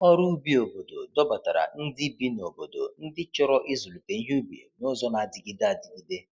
Ọrụ ubi obodo dọbatara ndị bi n’obodo ndị chọrọ ịzụlite ihe ubi n’ụzọ na-adịgide adịgide.